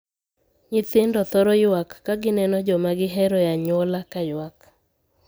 Nyithindo thoro yuak ka gineno joma gihero e anyuola ka yuak.